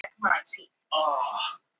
Von um björgun dvínar